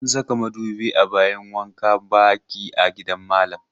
An saka madubi a bayin wankan baki a gidan malam.